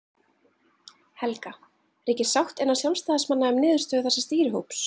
Helga: Ríkir sátt innan sjálfstæðismanna um niðurstöðu þessa stýrihóps?